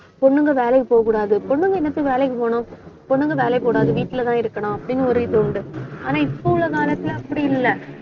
பொண்ணுங்க வேலைக்கு போகக்கூடாது. பொண்ணுங்க என்னத்துக்கு வேலைக்கு போகணும் பொண்ணுங்க வேலைக்கு போகக்கூடாது. வீட்டுலதான் இருக்கணும் அப்படின்னு ஒரு இது உண்டு. ஆனா இப்ப உள்ள காலத்துல, அப்படி இல்லை